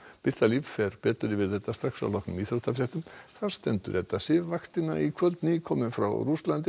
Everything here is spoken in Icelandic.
birta Líf fer betur yfir þetta strax að loknum íþróttafréttum þar stendur Edda Sif fréttavaktina í kvöld nýkomin frá Rússlandi